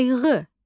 Qayğı.